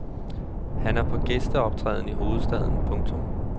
Han er på gæsteoptræden i hovedstaden. punktum